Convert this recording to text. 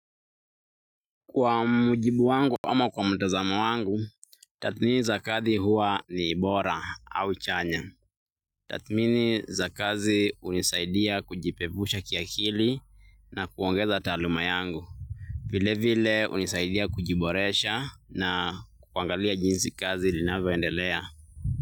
Kwa mujibu wangu ama kwa mtazamo wangu, tathmini za kazi huwa ni bora au chanya. Tathmini za kazi hunisaidia kujipevusha kiakili na kuongeza taaluma yangu. Vile vile hunisaidia kujiboresha na kuangalia jinsi kazi linavyoendelea.